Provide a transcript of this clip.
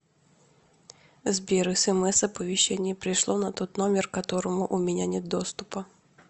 сбер смс оповещения пришло на тот номер которому у меня нет доступа